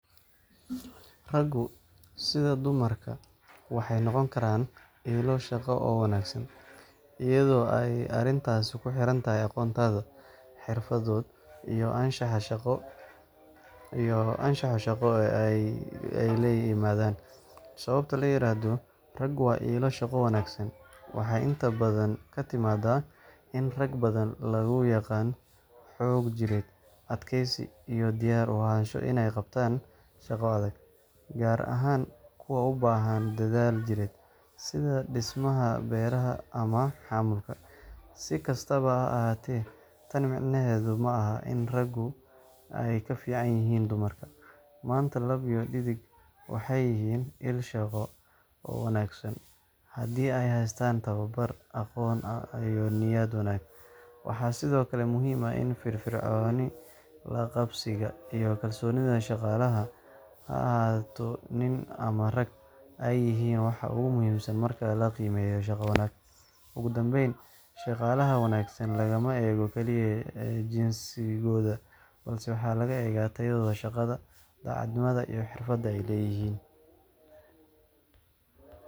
Raggu, sida dumarka, waxay noqon karaan ilo shaqo oo wanaagsan, iyadoo ay arrintaasi ku xirantahay aqoontooda, xirfadooda, iyo anshaxa shaqo ee ay la yimaadaan. Sababta loo yiraahdo "ragu waa ilo shaqo wanaagsan" waxay inta badan ka timaadaa in rag badan lagu yaqaan xoog jireed, adkaysi, iyo diyaar u ahaansho inay qabtaan shaqo adag, gaar ahaan kuwa u baahan dadaal jireed, sida dhismaha, beeraha, ama xamuulka. Si kastaba ha ahaatee, tani micnaheedu ma aha in raggu ay ka fiican yihiin dumarka. Maanta, lab iyo dhedigba waxay yihiin il shaqo oo wanaagsan, haddii ay haystaan tababar, aqoon iyo niyad wanaag. Waxaa sidoo kale muhiim ah in firfircoonida, la-qabsiga, iyo kalsoonida shaqaalaha – ha ahaado nin ama naag – ay yihiin waxa ugu muhiimsan marka la qiimeynayo shaqo wanaag. Ugu dambayn, shaqaalaha wanaagsan lagama eego keliya jinsigooda, balse waxaa la eegaa tayadooda shaqo, daacadnimada, iyo xirfadaha ay la yimaadaan.